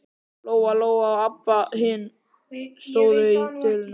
Lóa-Lóa og Abba hin stóðu í dyrunum.